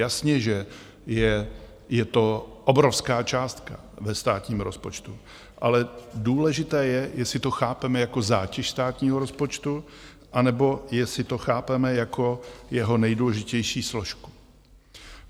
Jasně, že je to obrovská částka ve státním rozpočtu, ale důležité je, jestli to chápeme jako zátěž státního rozpočtu, anebo jestli to chápeme jako jeho nejdůležitější složku.